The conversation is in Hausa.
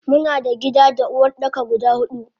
Muna da gida da Uwardaka guda hudu.